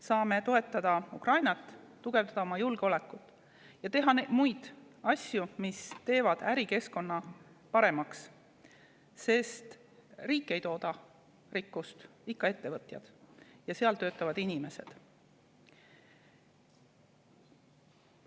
Saame toetada Ukrainat, tugevdada oma julgeolekut ja teha muid asju, mis teevad ärikeskkonda paremaks, sest riik ei tooda rikkust, ikka ettevõtted ja seal töötavad inimesed.